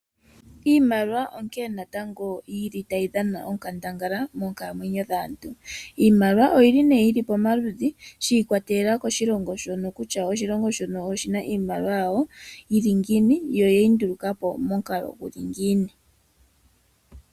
Iimaliwa onkene natango yili tayi dhana onkandangala moonkalamwenyo dhaantu. Oyi li nee pamaludhi shi ikwatelela koshilongo shontumba oshoka kehe oshilongo oshina iimaliwa yawo ye yi nduluka po momukalo ngoka ya hala.